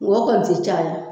Ng'o kɔni tɛ caya.